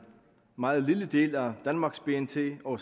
meget lille del af danmarks bnp og